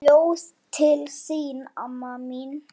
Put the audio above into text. Ljóð til þín amma mín.